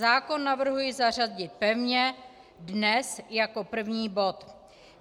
Zákon navrhuji zařadit pevně dnes jako první bod.